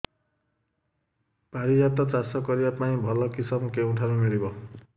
ପାରିଜାତ ଚାଷ କରିବା ପାଇଁ ଭଲ କିଶମ କେଉଁଠାରୁ ମିଳିବ